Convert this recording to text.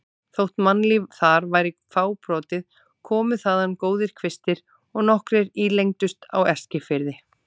Þótt mannlíf þar væri fábrotið komu þaðan góðir kvistir og nokkrir ílengdust á Eskifirði.